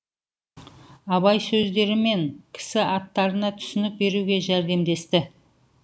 абай сөздері мен кісі аттарына түсінік беруге жәрдемдесті